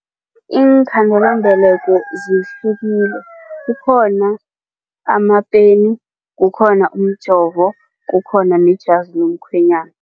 Iinkhandelambeleko zihlukile kukhona amapeni, kukhona umjovo, kukhona nejazi lomkhwenyana.